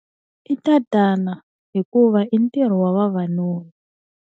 I tatana hikuva i ntirho wa vavanuna.